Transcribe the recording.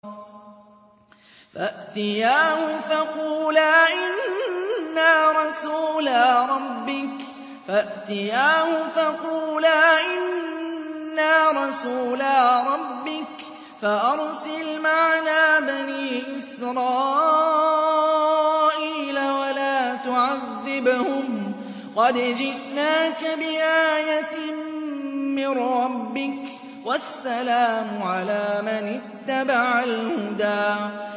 فَأْتِيَاهُ فَقُولَا إِنَّا رَسُولَا رَبِّكَ فَأَرْسِلْ مَعَنَا بَنِي إِسْرَائِيلَ وَلَا تُعَذِّبْهُمْ ۖ قَدْ جِئْنَاكَ بِآيَةٍ مِّن رَّبِّكَ ۖ وَالسَّلَامُ عَلَىٰ مَنِ اتَّبَعَ الْهُدَىٰ